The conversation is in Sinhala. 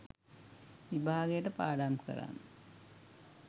විභාගයට පාඩම් කරන්න